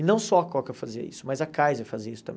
E não só a Coca fazia isso, mas a Kaiser fazia isso também.